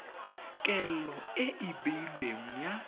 kelo e e beilweng ya